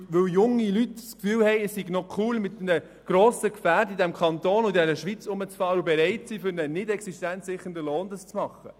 Es gibt junge Leute, die es «cool» finden, mit einem grossen Gefährt im Kanton Bern und in der Schweiz herumzufahren, und diese sind bereit, dies für einen nicht existenzsichernden Lohn zu tun.